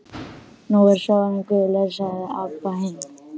Nú er sjórinn gulur, sagði Abba hin.